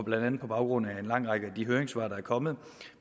blandt andet på baggrund af den lange række af høringssvar der er kommet